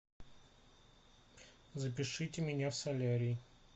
запишите меня в солярий